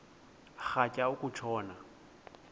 rhatya uku tshona